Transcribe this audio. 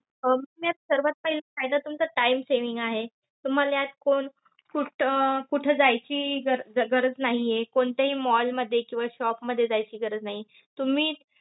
अं यात सर्वात पहिले फायदा तुमचा time saving आहे. तुम्हाला यात कोण कुठं अं कुठं जायची अं गरज नाहीये. कोणत्याही mall मध्ये किंवा shop मध्ये जायची गरज नाहीये. तुम्ही